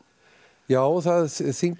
já það þyngir